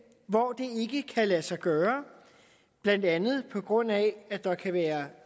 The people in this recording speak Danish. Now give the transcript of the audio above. hvor det ikke kan lade sig gøre blandt andet på grund af at der kan være